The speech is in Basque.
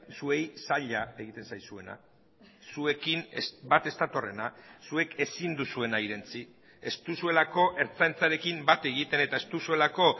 zuei zaila egiten zaizuena zuekin bat ez datorrena zuek ezin duzuena irentsi ez duzuelako ertzaintzarekin bat egiten eta ez duzuelako